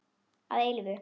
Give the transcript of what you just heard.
Að eilífu.